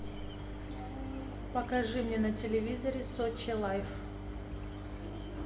покажи мне на телевизоре сочи лайф